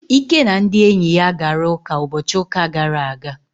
Ike na ndị enyi ya gara ụka ụbọchị ụka gara aga.